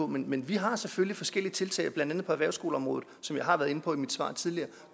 men men vi har selvfølgelig forskellige tiltag blandt andet på erhvervsskoleområdet som jeg har været inde på i et svar tidligere